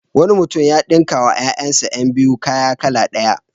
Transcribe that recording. Wani mutum ya ɗinkawa ƴaƴansa ƴan biyu kaya kala ɗaya.